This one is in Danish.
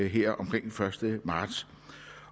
her omkring den første marts